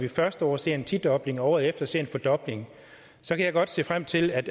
det første år ser en tidobling og året efter ser en fordobling så kan jeg godt se frem til at